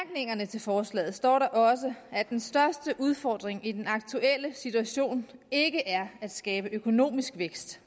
til forslaget står der også at den største udfordring i den aktuelle situation ikke er at skabe økonomisk vækst